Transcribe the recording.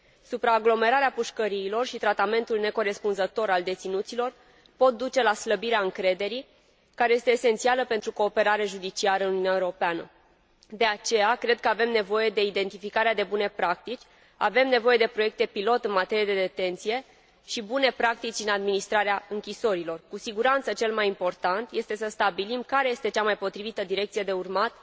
Supraaglomerarea pușcăriilor și tratamentul necorespunzător al deținuților pot duce la slăbirea încrederii, care este esențială pentru cooperarea judiciară în Uniunea Europeană. De aceea, cred că avem nevoie de identificarea de bune practici, avem nevoie de proiecte pilot în materie de detenție și bune practici în administrarea închisorilor. Cu siguranță, cel mai important este să stabilim care este cea mai potrivită direcție de urmat